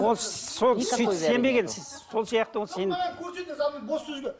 ол сол сөйтіп сенбеген сол сияқты ол сен